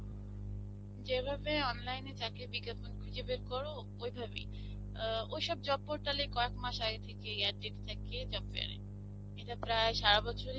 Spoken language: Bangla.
যেভাবে online এ চাকরীর বিজ্ঞাপন খুঁজে বার করো, ঐভাবেই. আ ঐসব job portal এ কয়েক মাস আগে থেকেই ad দিতে থাকে job fair এর. এটা প্রায় সারা বছরই